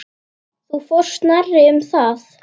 Þú fórst nærri um það.